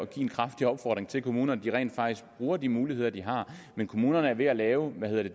give en kraftig opfordring til kommunerne de rent faktisk bruger de muligheder de har men kommunerne er ved at lave